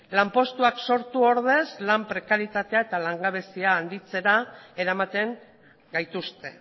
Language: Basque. lanpostuak sortu ordez lan prekaritatea eta langabezia handitzera eramaten gaituzte